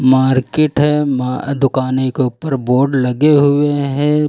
Market है मा दुकाने के ऊपर बोर्ड लगे हुए है।